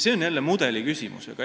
See on jälle mudeli küsimus.